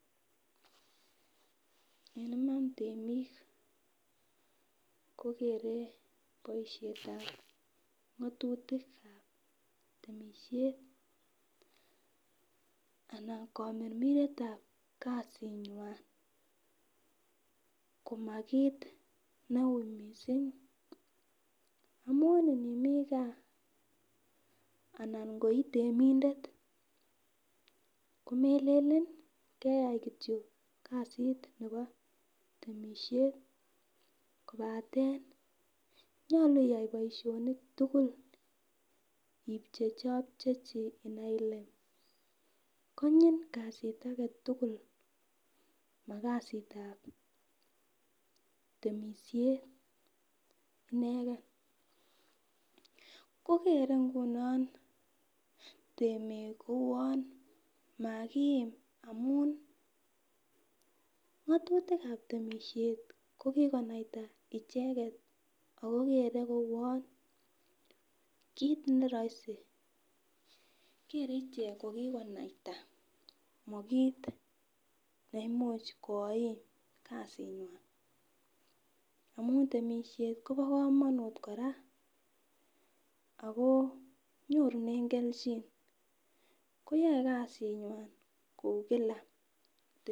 En Iman temik kokere boishetab ngotutikab temishet anan komirmiretab kasinywan koma kit neu missing amun imii gaa ana ko koitemindet komelelen keyai kityok kasit nebo temishet kobatet nyolu iyai boishonik tukuk ipcheichopchechi inai ile konyin kasit agetutuk makasitab temishet ineken ko kere nguni temik kouwon makiim amun ngotutikab temishet ko kikonaita icheket ako kere kouwon kit neroisi kere ichek ko kikonaita mokit neimuch koim kasinywan amun temishet Kobo komonut kora Ako nyorunen keljin koyoe kasinywan kou Kila.